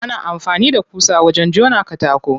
Ana amfani da ƙusa wajen jona katako.